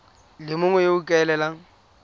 le mongwe yo o ikaelelang